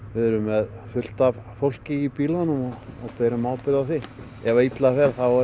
við erum með fullt af fólki í bílunum ef illa fer er